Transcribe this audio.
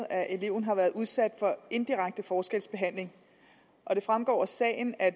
at eleven har været udsat for indirekte forskelsbehandling og det fremgår af sagen at